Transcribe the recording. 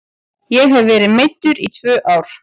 Ég hef verið meiddur í tvö ár.